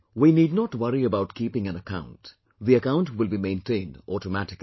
We need not worry about keeping an account; the account will be maintained automatically